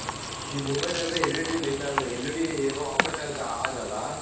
E mobile ಅಲ್ಲಿ L E D light L E D operate ಆದಾಗ.